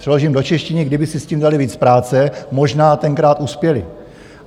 Přeložím do češtiny: kdyby si s tím dali víc práce, možná tenkrát uspěli.